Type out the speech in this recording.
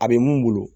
A bɛ mun bolo